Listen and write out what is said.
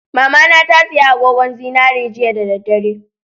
Mamana tasiya agogon zinari jiya da dare